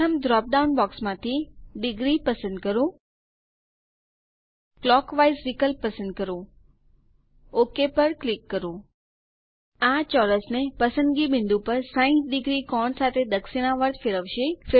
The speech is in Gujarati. પ્રથમ ડ્રોપ ડાઉન બોક્સ માંથી ° પસંદ કરો ક્લોકવાઇઝ વિકલ્પ પસંદ કરો ઓક પર ક્લિક કરો આ ચોરસને પસંદગી બિંદુ પર 60° કોણ સાથે દક્ષીણાવર્ત ફેરવશે